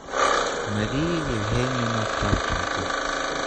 мария евгеньевна кравченко